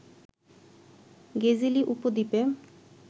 গেজেলি উপদ্বীপে